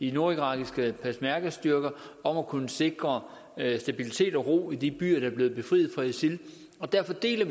de nordirakiske peshmergastyrker om at kunne sikre stabilitet og ro i de byer der er blevet befriet fra isil derfor deler